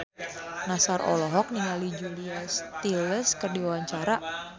Nassar olohok ningali Julia Stiles keur diwawancara